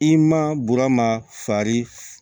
I ma burama farin